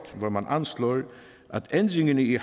hvor man anslår at ændringerne i